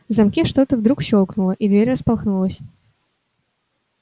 в замке вдруг что-то щёлкнуло и дверь распахнулась